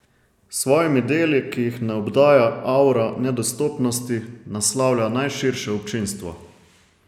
S svojimi deli, ki jih ne obdaja avra nedostopnosti, naslavlja najširše občinstvo.